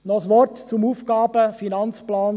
Noch ein Wort zum AFP 2020–2022: